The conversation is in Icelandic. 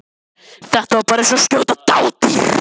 Þetta var bara eins og að skjóta dádýr.